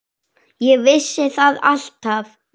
Ég vissi það alltaf.